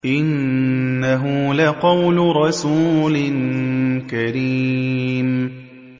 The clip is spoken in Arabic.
إِنَّهُ لَقَوْلُ رَسُولٍ كَرِيمٍ